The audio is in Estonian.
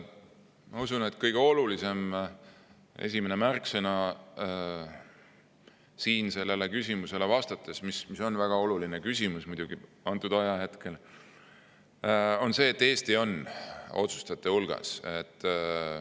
Ma usun, et kõige olulisem ja esimene märksõna, vastates sellele küsimusele, mis on muidugi praegu väga tähtis, on see, et Eesti on otsustajate hulgas.